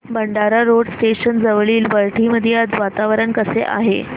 Bhandara road station जवळील वरठी मध्ये आज वातावरण कसे आहे